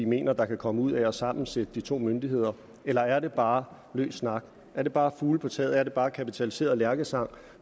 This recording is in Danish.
mener der kan komme ud af at sammensætte de to myndigheder eller er det bare løs snak er det bare fugle på taget er det bare kapitaliseret lærkesang